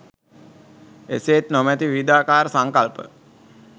එසේත් නොමැති විවිධාකාර සංකල්ප